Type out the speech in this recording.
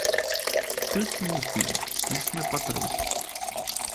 включи мне фильм лесной патруль